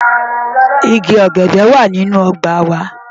Igi ọ̀gẹ̀dẹ̀ wà nínú ọgbà wa.